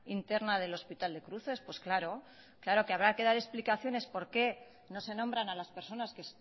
interna del hospital de cruces pues claro claro que habrá que dar explicaciones por qué no se nombran a las personas que